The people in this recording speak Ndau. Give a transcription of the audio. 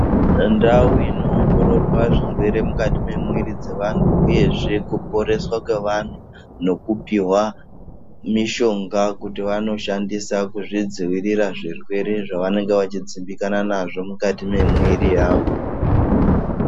Ndau inoongorora zvirwere mukati mwemwiri wemuntuuyezve nekuporeswa kwe ekupihwa mishonga kuti vanoshandisa kuzvidziirira zvirwere zvavanonga vachidzimbikana nazvo mukati mwemwiri yavo.